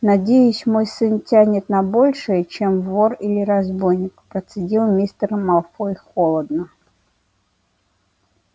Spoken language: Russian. надеюсь мой сын тянет на большее чем вор или разбойник процедил мистер малфой холодно